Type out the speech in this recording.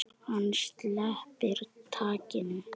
Hann sleppir takinu.